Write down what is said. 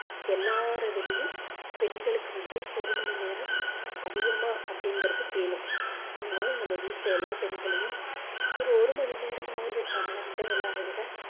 எல்லாரைவிடவும் பெண்களுக்கு வந்து ஒரு மணி நேரம் அதிகமா அப்படிங்கறது வேணும் அதனால நம்ம வீட்ல எல்லா பெண்களையும் ஒரு ஒரு மணி நேரமாவது நம்மளை விட எல்லாரையும் விட